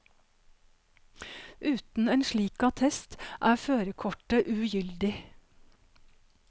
Uten en slik attest, er førerkortet ugyldig.